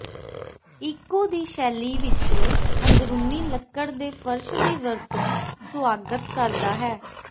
eco ਦੀ ਸ਼ੈਲੀ ਵਿਚ ਅੰਦਰੂਨੀ ਲੱਕੜ ਦੇ ਫਰਸ਼ ਦੀ ਵਰਤੋ ਸੁਆਗਤ ਕਰਦਾ ਹੈ